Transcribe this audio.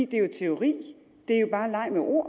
det er jo teori det er jo bare en leg med ord